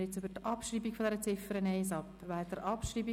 Wir kommen zur Ziffer 2 dieser Motion.